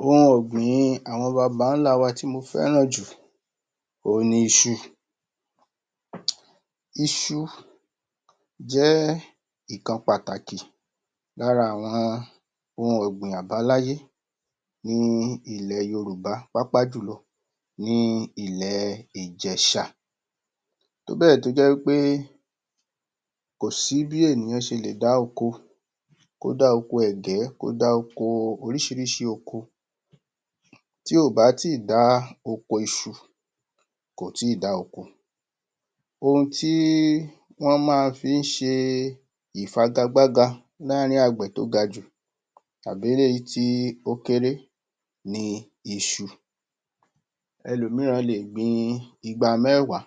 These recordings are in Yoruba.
ohun ọ̀gbìn-in àwọn baba wa tí mo féraǹ ju òhun ni isu? isu jẹ́ ẹ́ ìkan pàtàkì lára àwọn ohun ọ̀gbìn àbáláyá ní ilẹ̀ yorùbá pàápàá julọ ni ́ ilẹ̀ ìjẹ̀shà tóbè tó jẹ́ wí pé kòsí bí ènìyàn se lè dá oko tó kódá oko ẹ̀gẹ́, kó dà oko orísírísí oko tí ò bá tì dá oko isu kò tí dá oko ohun t íi wọ́n mafí i se ìfagagbága láàrín àgbè tó ga jù tàbí eléyí tí ó kérá ni isu ẹlomíràn le gbin igba mẹ́wá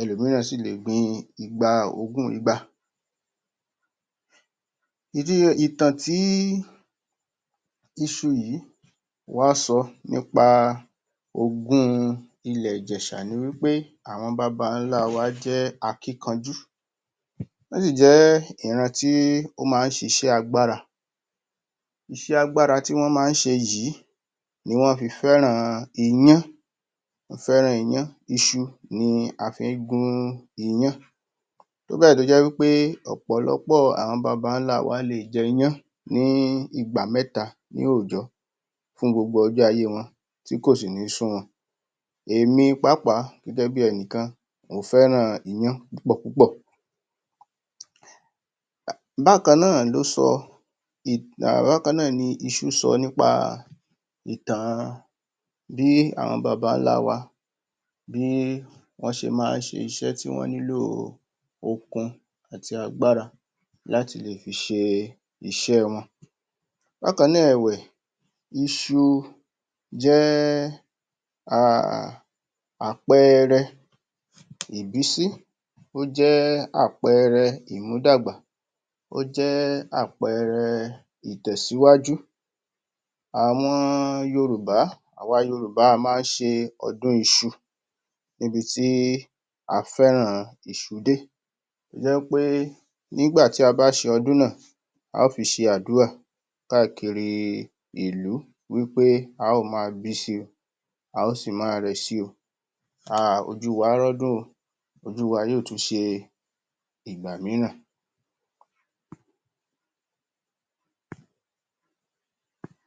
ẹlomíràn si ́lè gbin igba ogún igba ìdí ìtàn tí isu yìí wọ́n sọ nípa ogún un ilẹ̀ ìjẹ̀shà ni wi ́ pé àwọn babálá wa jẹ́ akínkanjú wọ́n sì jẹ́ ìran tí ó má sisẹ́ alágbára iṣẹ́ alágbára tí wọ́n má se yíì ni wọ́n fi fẹ́ràn iyán fẹ́ràn iyán, isu ni a fí gún iyán tóbẹ̀ tó jẹ́ wípé ọ̀pọ̀lọ́pọ́ àwọn babálá wa le jẹ́ iyán ní ìgbà mẹ́ta ní òjọ̀ fún gbogbo ọjọ́ ayé wọn, tí kò sì ní sún wọn èmi pàápàá gẹ́gẹ́ bi ẹnìkan mo féràn iyán pùpọ púpọ̀ bákanná nà ló sọ um bákanná ni isu sọ nípa ìtàn an bí àwọn babálá wa bí wọ́n má se iṣẹ́ tí wọ́n nílò okun àti agbára láti lè fi i se iṣẹ́ wọn bákanná ẹ̀wẹ̀ isu jé ahhhh àpẹẹrẹ ìbísí o ́ jẹ́ àpẹẹrẹ ìmúdàgbà ó jẹ́ àpẹẹrẹ ìtẹ̀síwájú àwọn yorùbá, àwa yorùbá, a má se ọdún isu níbi tí a féràn isu dé tó jẹ́ wí pé nígbà tí a bá se ọdún náà á fi se àdúra káàkiri i ìlú wí pé á ma bísi a ó sì ma rẹ̀ si o ah ojú wa rọ́dún o ojú wa yóò tún se ìgbà míràn.